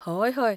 हय, हय.